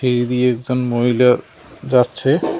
সিঁড়ি দিয়ে একজন মহিলা যাচ্ছে।